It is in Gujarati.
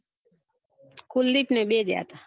કુલદીપ ને બે જયા તા